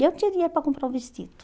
Eu tinha dinheiro para comprar um vestido.